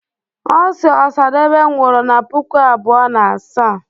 osi osadebe nwuru na puku abuo na asaa